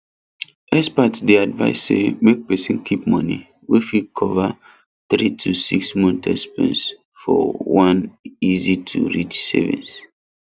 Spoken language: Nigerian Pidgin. experts dey advise say make person keep money wey fit cover three to six months expense for one easytoreach savings